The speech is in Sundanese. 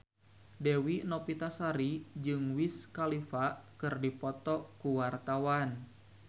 Dewi Novitasari jeung Wiz Khalifa keur dipoto ku wartawan